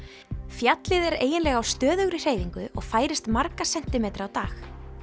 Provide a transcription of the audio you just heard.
fjallið er eiginlega á stöðugri hreyfingu og færist marga sentímetra á dag